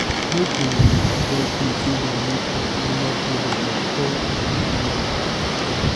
make una dey avoid clothes wey dem make from animal products like fur and leather.